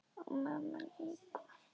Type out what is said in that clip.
Og mömmu líka.